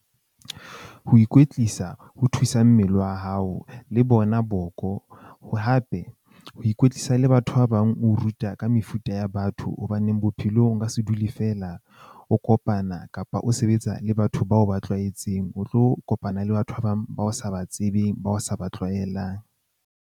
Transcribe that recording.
Ho ikwetlisa ho thusa mmele wa hao le bona boko hape ho ikwetlisa le batho ba bang o ruta ka mefuta ya batho. Hobaneng bophelong o nka se dule, fela o kopana kapa o sebetsa le batho bao ba tlwaetseng o tlo kopana le batho ba bang ba o sa ba tsebeng, ba o sa ba tlwaelang.